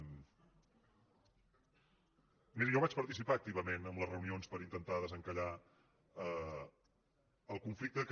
miri jo vaig participar activament en les reunions per intentar desencallar el conflicte que